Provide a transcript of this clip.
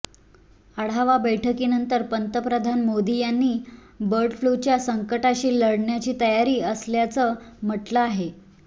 आढावा बैठकीनंतर पंतप्रधान मोदी यांनी बर्ड फ्ल्यूच्या संकटाशी लढण्याची तयारी असल्याचं म्हटलं आहे